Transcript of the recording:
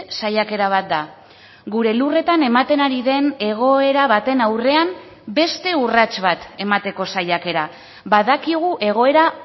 saiakera bat da gure lurretan ematen ari den egoera baten aurrean beste urrats bat emateko saiakera badakigu egoera